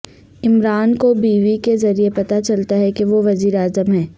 عمران کو بیوی کے ذریعے پتہ چلتا ہے کہ وہ وزیر اعظم ہیں